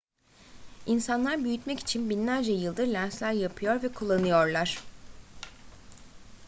i̇nsanlar büyütmek için binlerce yıldır lensler yapıyor ve kullanıyorlar